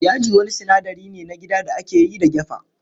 Yaji wani sinadari ne na gida da ake yi da gyafa.